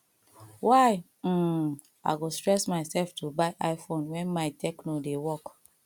why um i go stress myself to by iphone wen my techno dey work